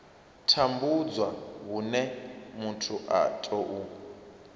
tambudzwa hune muthu a tou